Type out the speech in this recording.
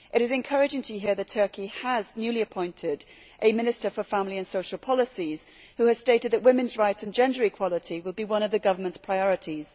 It is encouraging to hear that Turkey has newly appointed a Minister for Family and Social Policies who has stated that women's rights and gender equality will be one of the government's priorities.